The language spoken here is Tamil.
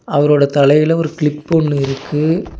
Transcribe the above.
அவரோட தலைல ஒரு கிளிப் ஒன்னு இருக்கு.